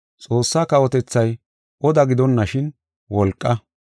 Xoossaa kawotethay oda gidonashin, wolqa.